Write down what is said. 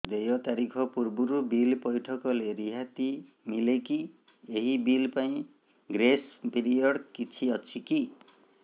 ଦେୟ ତାରିଖ ପୂର୍ବରୁ ବିଲ୍ ପୈଠ କଲେ ରିହାତି ମିଲେକି ଏହି ବିଲ୍ ପାଇଁ ଗ୍ରେସ୍ ପିରିୟଡ଼ କିଛି ଅଛିକି